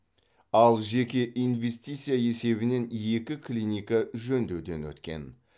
ал жеке инвестиция есебінен екі клиника жөндеуден өткен